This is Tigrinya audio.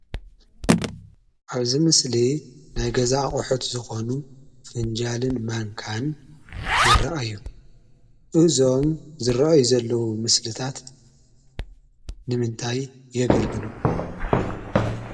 ኣብ እዚ ምስሊ ናይ ገዛ ኣቁሑት ዝኾኑ ፍንጃልን ማንካን ይራኣዩ፡፡ እዞም ዝረአዩ ዘለዉ ምስልታት ንምንታይ የገልግሉ?